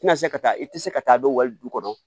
Tɛna se ka taa i tɛ se ka taa dɔ wali du kɔnɔ